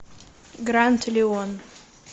гранд леон